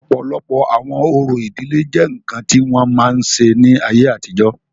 ọ̀pọ̀lọpọ̀ àwọn orò ìdílé jẹ́ ǹkan tí wọ́n máa ń ṣe ní ayé àtijọ́